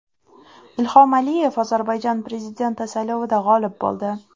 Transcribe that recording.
Ilhom Aliyev Ozarbayjon prezidenti saylovida g‘olib bo‘ldi.